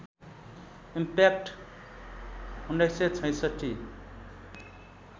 impact १९६६